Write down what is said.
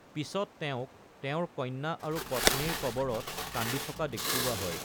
পিছত তেওঁক তেওঁৰ কন্যা আৰু পত্নীৰ কবৰত কান্দি থকা দেখুওৱা হয়।